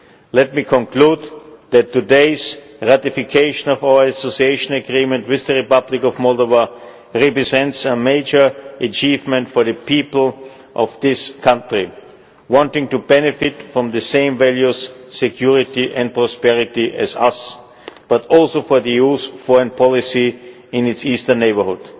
Let me conclude by saying that today's ratification of our Association Agreement with the Republic of Moldova represents a major achievement for the people of this country wanting to benefit from the same values, security and prosperity as us, but also for the EU's foreign policy in its Eastern Neighbourhood.